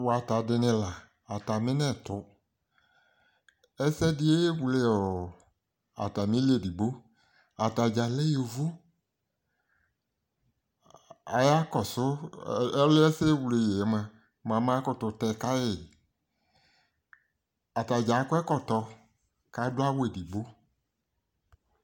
wata dini la atami nɛto ɛsɛ di ewle atami li edigbo atadza lɛ yovo aya kɔso ɔliɛ ɛsɛ ewle yiɛ moa ama koto tɛ ka yi atadza akɔ ɛkɔtɔ ko ado awu edigbo